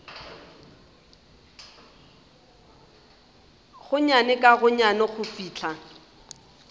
gonnyane ka gonnyane go fihla